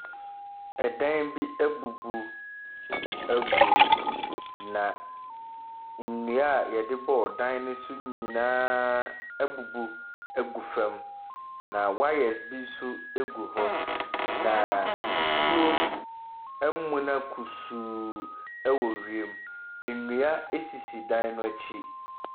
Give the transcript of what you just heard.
Ɛdan bi abubu agu, na nnua a wɔde bɔɔ dan no so nyinaa abubu agu fam, na wires bi nso gu hɔ, na nsuo amuna kusuu wɔ wiem. Nnua sisi dan no akyi.